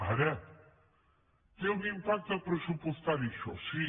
ara té un impacte pressupostari això sí